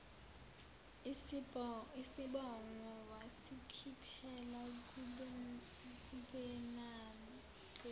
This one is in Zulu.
isibhongo wasikhiphela kubenade